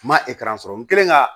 N ma sɔrɔ n kɛlen ka